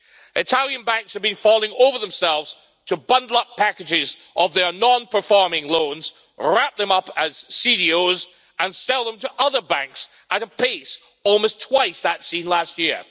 Italian banks have been falling over themselves to bundle up packages of their non performing loans, wrap them up as CDOs, and sell them to other banks at a pace almost twice that seen last year.